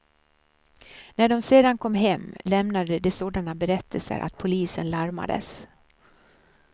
När de sedan kom hem lämnade de sådana berättelser att polisen larmades.